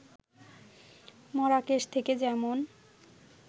Marrakesh থেকে যেমন